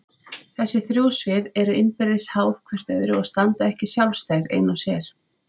Þessi þrjú svið eru innbyrðis háð hvert öðru og standa ekki sjálfstæð ein og sér.